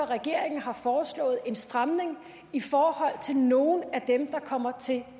regeringen har foreslået en stramning i forhold til nogle af dem der kommer til